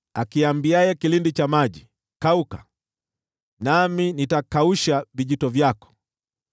niambiaye kilindi cha maji, ‘Kauka, nami nitakausha vijito vyako,’